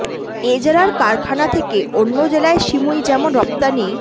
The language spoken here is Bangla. এ জেলার কারখানা থেকে অন্য জেলায় সিমুই যেমন রপ্তানি